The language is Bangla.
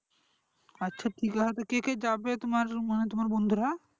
আচ্ছা ঠিক আছে তো কে কে যাবে তোমার মানে বন্ধুরা?